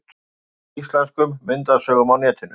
En fátt er af íslenskum myndasögum á netinu.